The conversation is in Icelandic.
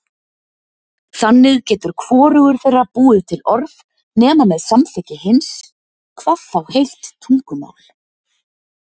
Þannig getur hvorugur þeirra búið til orð nema með samþykki hins, hvað þá heilt tungumál.